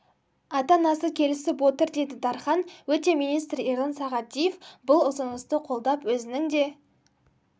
ата анасы келісіп отыр деді дархан өте министр ерлан сағадиев бұл ұсынысты қолдап өзінің де